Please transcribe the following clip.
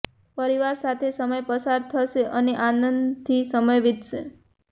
પરિવાર સાથે સમય પસાર થશે અને આનંદથી સમય વિતશે